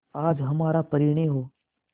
आज हमारा परिणय हो